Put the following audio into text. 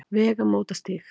Vegamótastíg